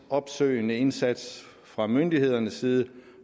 opsøgende indsats fra myndighedernes side